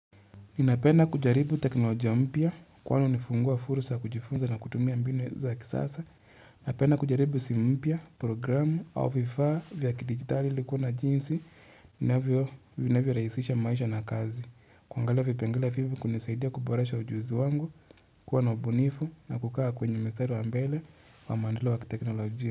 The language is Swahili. Ninapenda kujaribu teknolojia mpya kwa anu nifungua fursa kujifunza na kutumia mbinu za kisasa. Ninapenda kujaribu simu, programu au vifaa vya kidigitali likuwa na jinsi. Ninavyorahisisha maisha na kazi. Kuangalia vipengele vivu kunisaidia kuboresha ujuzi wangu kuwa na bunifu na kukaa kwenye mstari wa mbele wa maendeleo wa teknolojia.